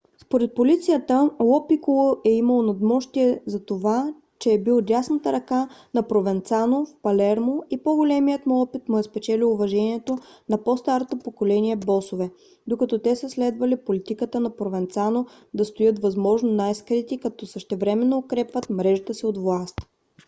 според полицията ло пиколо е имал надмощие затова че е бил дясната ръка на провенцано в палермо и по-големият му опит му е спечелил уважението на по - старото поколение босове докато те са следвали политиката на провенцано да стоят възможно най-скрити като същевременно укрепват мрежата си от власт